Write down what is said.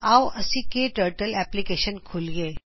ਆਓ ਅਸੀ ਕੇ ਟਰਟਲ ਐਪਲੀਕੇਸ਼ਨ ਖੋਲਿਏ